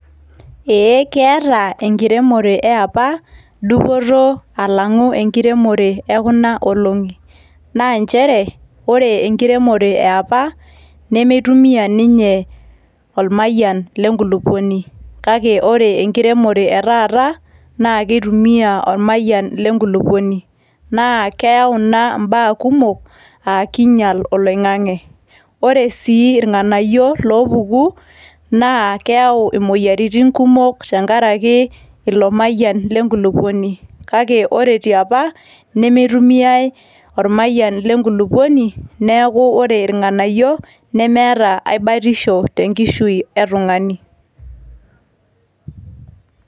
Ee keeta enkiremore eapa, dupoto alang'u enkiremore ekunoolong'i. Na njere, ore enkiremore eapa, nimitumia ninye ormayian lenkulukuoni. Kake ore enkiremore etaata, na kitumia ormayian lenkulukuoni. Na keau ina imbaa kumok, ah kiinyal oloing'ang'e. Ore si irng'anayio loopuku, naa keau imoyiaritin kumok tenkaraki ilo mayian lenkulukuoni. Kake kore tiapa, nimitumiai ormayian lenkulukuoni, neeku ore irng'anayio, nemeeta ai baatisho tenkishui etung'ani.